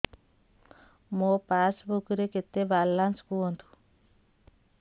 ମୋ ପାସବୁକ୍ ରେ କେତେ ବାଲାନ୍ସ କୁହନ୍ତୁ